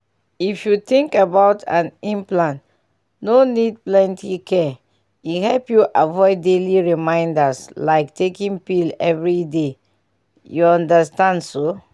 if you think about am implant no need plenty care — e help you avoid daily reminders like taking pill every day you understand so?